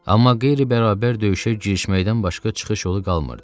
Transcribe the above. Amma qeyri-bərabər döyüşə girişməkdən başqa çıxış yolu qalmırdı.